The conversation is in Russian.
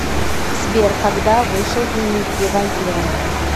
сбер когда вышел дневники вампира